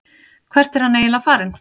Hvert er hann eiginlega farinn?